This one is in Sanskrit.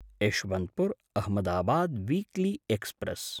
यशवन्तपुर्–अहमदाबाद् वीक्ली एक्स्प्रेस्